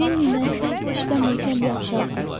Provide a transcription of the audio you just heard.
Lenni ilə siz işdə möhkəm yapışarsız.